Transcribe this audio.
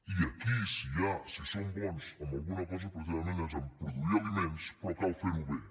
i aquí si som bons en alguna cosa precisament és en produir aliments però cal fer ho bé